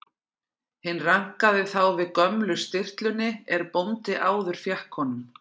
Hinn rankaði þá við gömlu stirtlunni er bóndi áður fékk honum.